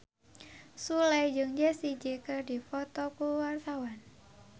Sule jeung Jessie J keur dipoto ku wartawan